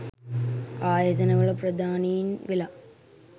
ආයතනවල ප්‍රධානීන් වෙලා